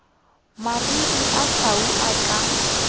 mariri a tau a ka